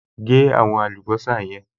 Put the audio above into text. Gé àwọn àlùbọ́sà yẹn